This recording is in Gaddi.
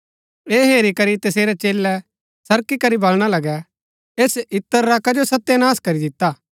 ऐह हेरी करी तसेरै चेलै सरकी करी बलणा लगै ऐस इत्र रा कजो सत्यनाश करी दिता